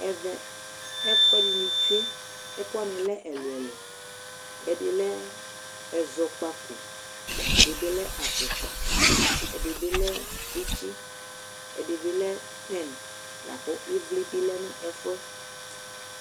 Ɛvɛ, ɛkʋɛdɩnɩ tsue, ɛkʋ wanɩ lɛ ɛlʋ-ɛlʋ, ɛdɩ lɛ ɛzɔkpako, ɛdɩ bɩ lɛ afʋkpa, ɛdɩ bɩ lɛ tsɩtsɩ, ɛdɩ bɩ lɛ pɛn la kʋ ɩvlɩ bɩ lɛ nʋ ɛfʋ yɛ